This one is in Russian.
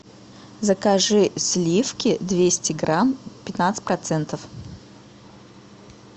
закажи сливки двести грамм пятнадцать процентов